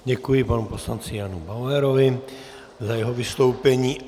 Děkuji panu poslanci Janu Bauerovi za jeho vystoupení.